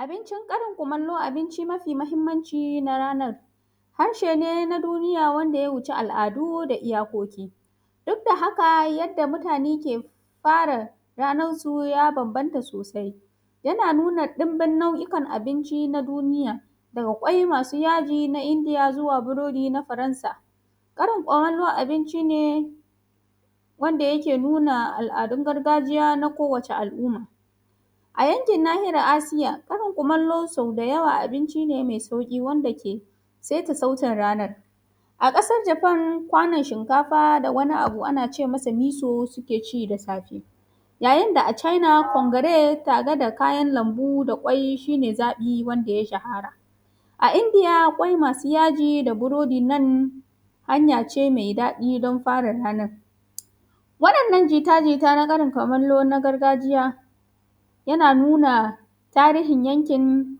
abincin karin kumallo abinci mafi mahimmanci na ranan harshi ne na duniya wanda ya wuce al'adu da iyakoki duk da haka yanda mutane ke fara ranan su ya babban ta yana nuna danbin nau'ikan abinci na duniya da kwai masu yaji na indiya xuwa burodi na firansa karin kumallo abinci ne wanda yake nuna al'adun gargajiya na ko wacce al'umma a yankin nahiyar asiya karin kumallo so da yawa abinci mai sauki wanda ke saita sautin ranan a kasan japan kwanan shikafa da wani abu anace masa miso suke ci da safe yayin da a china kongare tare da kayan lanbu da kwai shine zabi wanda ya shahara a indiya kwai masu yaji da burodin nan hanya ce mai dadi dan fara ranan wadan nan jita-jita na karin kumallo na gargajiya yana nuna tarihin yankin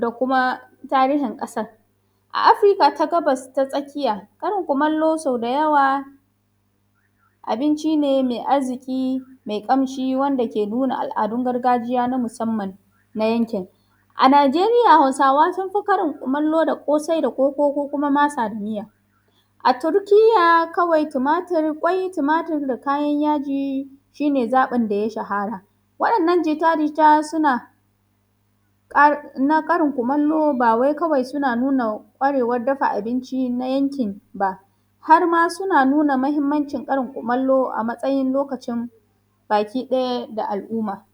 da kuma tarihin kasa a afrika ta gabas ta tsakiya karin kumallo so da yawa abinci ne mai arziki mai kamshi wanda ke nuna al'adun gargajiya na musamman na yankin a najeriya hausawa sun fi karin kumallo da kosai da koko ko kuma masa da miya a turkiya kawai tumatir kwai tumatir da kayan yaji shine zabin da ya shahara wadan nan jita-jita suna qar na karin kumallo ba wai kawai suna nuna kwarewan dafa abinci na yankin ba harma suna nuna mahimmancin karin kumallo a matsayin lokacin bakide da al'umma